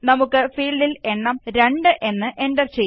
നമുക്ക് ഫീല്ഡില് എണ്ണം 2 എന്ന് എന്റര് ചെയ്യാം